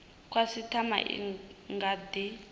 khasitama i nga kha di